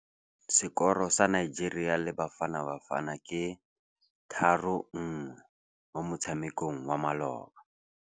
Sekôrô sa Nigeria le Bafanabafana ke 3-1 mo motshamekong wa malôba.